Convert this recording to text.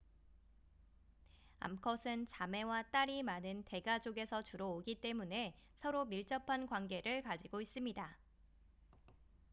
암컷은 자매와 딸이 많은 대가족에서 주로 오기 때문에 서로 밀접한 관계를 가지고 있습니다